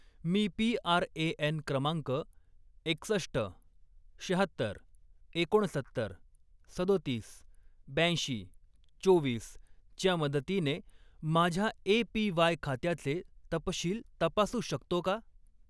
मी PRAN. क्रमांक एकसष्ट, शहात्तर, एकोणसत्तर, सदोतीस, ब्याऐंशी, चोवीस च्या मदतीने माझ्या ए.पी.वाय. खात्याचे तपशील तपासू शकतो का?